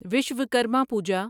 Vishwakarma Puja